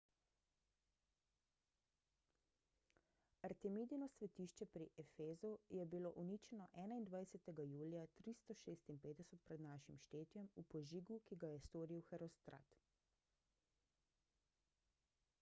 artemidino svetišče pri efezu je bilo uničeno 21 julija 356 pr n š v požigu ki ga je storil herostrat